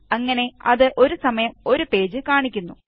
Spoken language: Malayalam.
അങ്ങനെ അത് ഒരു സമയം ഒരു പേജ് കാണിക്കുന്നു